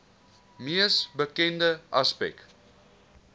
mees bekende aspek